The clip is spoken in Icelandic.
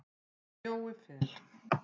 Jói Fel.